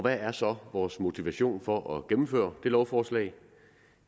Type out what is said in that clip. er så vores motivation for at gennemføre det lovforslag